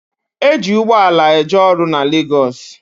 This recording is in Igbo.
E ji ugboala eje ọrụ na Legosi